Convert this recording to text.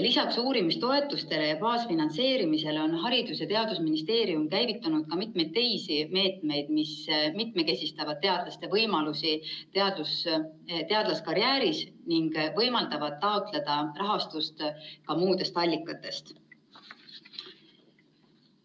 Lisaks uurimistoetustele ja baasfinantseerimisele on Haridus‑ ja Teadusministeerium käivitanud mitu teist meedet, mis mitmekesistavad teadlaste võimalusi teadlaskarjääris ning võimaldavad taotleda rahastust ka muudest allikatest.